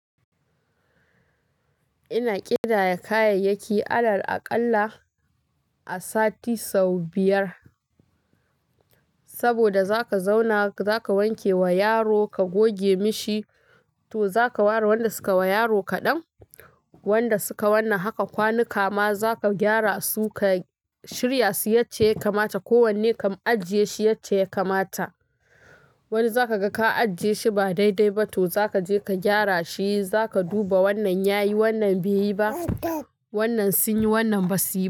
Ina ƙidaya kayayyaki alal aƙalla a sati sau biyar. Saboda zaka zauna, zaka wanke wa yaro, ka goge mishi, to zaka ware wanda suka wa yaro kaɗan. Wanda suka wannan haka kwanuka ma zaka gyara su, ka shirya su yace ya kamata. Ko wanne ka ajiye shi yace ya kamata. Wani zaka ga ka ajiye shi ba daidai ba, to za ka je ka gyara shi. Za ka duba wannan ya yi, wannan bai yi ba. Wannan sun yi, wannan ba su yi ba.